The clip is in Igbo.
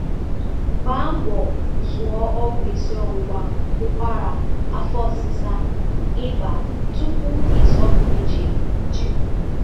Gbaa mbọ zụụ ọgwụ isiọwụwa, ụkwara, afọ ọsịsa, ị́bà tupu ịzọpụ ije njem